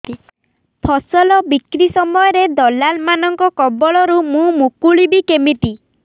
ଫସଲ ବିକ୍ରୀ ସମୟରେ ଦଲାଲ୍ ମାନଙ୍କ କବଳରୁ ମୁଁ ମୁକୁଳିଵି କେମିତି